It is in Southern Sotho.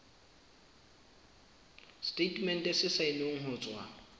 setatemente se saennweng ho tswa